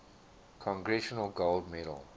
congressional gold medal